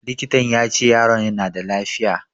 Likitan ya ce yaron na da lafiya.